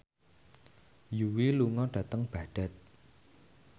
Yui lunga dhateng Baghdad